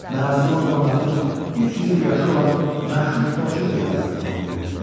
Mərasimi o zaman artıq 300 il yaşı olan məşhur topçu briqadası tamamlayırdı.